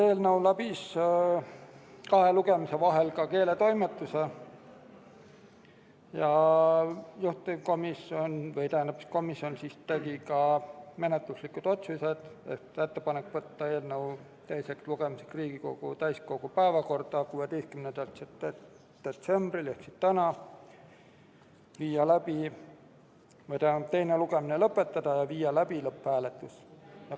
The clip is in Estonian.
Eelnõu läbis kahe lugemise vahel ka keeletoimetuse ja juhtivkomisjon tegi menetluslikud otsused: ettepanek võtta eelnõu teiseks lugemiseks Riigikogu täiskogu päevakorda 16. detsembriks ehk tänaseks, teine lugemine lõpetada ja viia läbi lõpphääletus.